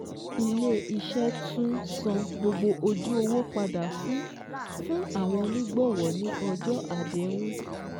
Ilé iṣẹ́ tún san gbogbo ojú owó padà fún fún àwọn onígbọ̀wọ́ ní ọjọ́ àdéhùn